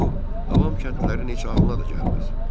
Bu, avam kəndlərin heç ağlına da gəlməz.